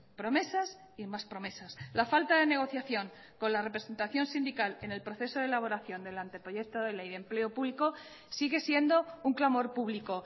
promesas y más promesas la falta de negociación con la representación sindical en el proceso de elaboración del anteproyecto de ley de empleo público sigue siendo un clamor público